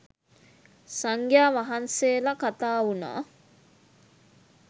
සංඝ්‍යා වහන්සේල කතාවුනා.